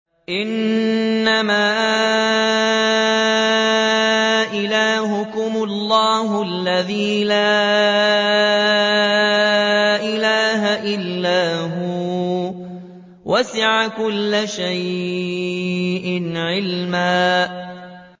إِنَّمَا إِلَٰهُكُمُ اللَّهُ الَّذِي لَا إِلَٰهَ إِلَّا هُوَ ۚ وَسِعَ كُلَّ شَيْءٍ عِلْمًا